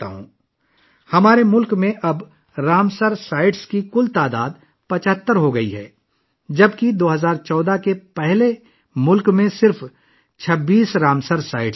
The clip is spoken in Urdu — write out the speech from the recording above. اب ہمارے ملک میں رامسر سائٹس کی کل تعداد بڑھ کر 75 ہو گئی ہے، جب کہ 2014 سے پہلے ملک میں صرف 26 رامسر سائٹس تھیں